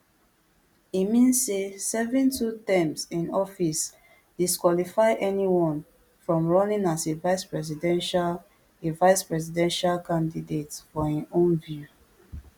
e mean say serving two terms in office disqualify anyone from running as a vicepresidential a vicepresidential candidate for im own view